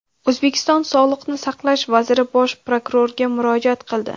O‘zbekiston Sog‘liqni saqlash vaziri bosh prokurorga murojaat qildi.